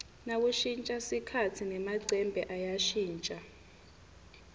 nakushintja sikhatsi nemacembe ayashintja